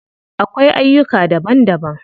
Akwai aiyuka daban daban.